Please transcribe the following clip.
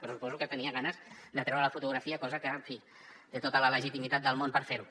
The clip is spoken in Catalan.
però suposo que tenia ganes de treure la fotografia cosa que en fi té tota la legitimitat del món per fer ho